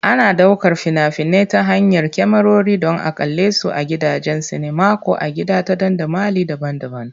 Ana ɗaukar fina-finai ta hanyar kyamarori don a kalle su a gidajen sinima ko a gida ta dandamali daban-daban.